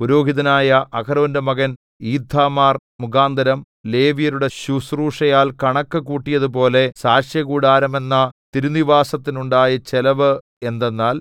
പുരോഹിതനായ അഹരോന്റെ മകൻ ഈഥാമാർ മുഖാന്തരം ലേവ്യരുടെ ശുശ്രൂഷയാൽ കണക്ക് കൂട്ടിയതുപോലെ സാക്ഷ്യകൂടാരമെന്ന തിരുനിവാസത്തിനുണ്ടായ ചെലവ് എന്തെന്നാൽ